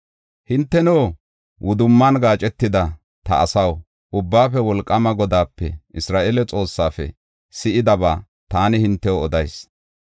Hinteno, wudumman gaacetida ta asaw, Ubbaafe Wolqaama Godaape, Isra7eele Xoossaafe si7idaba taani hintew odayis.